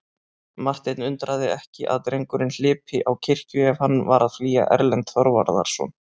Martein undraði ekki að drengurinn hlypi á kirkju ef hann var að flýja Erlend Þorvarðarson.